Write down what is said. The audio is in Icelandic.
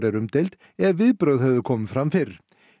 er umdeild ef viðbrögð hefðu komið fram fyrr